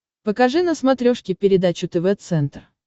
покажи на смотрешке передачу тв центр